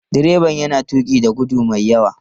Direban yana tuki da gudu mai yawa.